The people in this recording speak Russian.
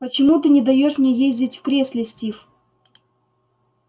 почему ты не даёшь мне ездить в кресле стив